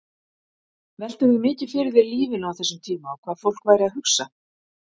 Veltirðu mikið fyrir þér lífinu á þessum tíma og hvað fólk væri að hugsa?